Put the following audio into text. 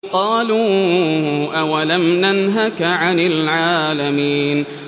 قَالُوا أَوَلَمْ نَنْهَكَ عَنِ الْعَالَمِينَ